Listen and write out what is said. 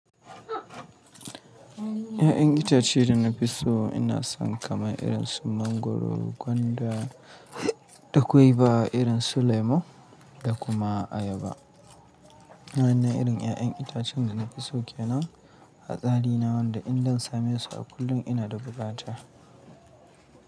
Ya'yan itace da na fi so ina son kamar irin su mangwaro, gwanda da kuma irin su lemu da kuma ayaba. Waɗannan irin ya'yan itacen da na fi so ke nan. A tsari na wanda in zan same su a kullum ina da bukata.